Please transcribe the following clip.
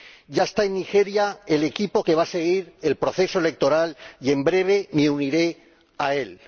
Ya está en Nigeria el equipo que va a seguir el proceso electoral y, en breve, me uniré a él.